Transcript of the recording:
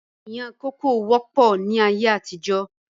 Ìyàn kókò wọ́pọ̀ ni ayé àtijọ́.